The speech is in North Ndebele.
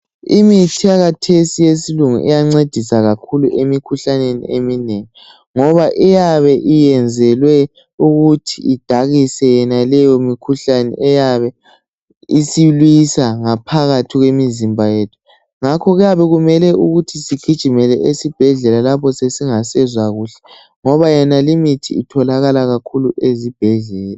Imithi eyakhathesi eyesilungu iyancedisa kakhulu emikhuhlaneni eminengi ngoba iyabe iyenzelwe kuthi idakise yonaleyo mikhuhlane eyabe isiliswa ngaphakathi kwemizimba yethu ngakho kuyabe kumele ukuthi sigijimele esibhedlela lapho sesingasezwa kuhle ngoba yonali mithi itholakala ezibhedlela.